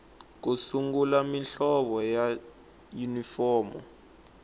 ku sungula muhlovo wa yunifomo